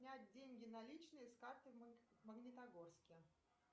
снять деньги наличные с карты в магнитогорске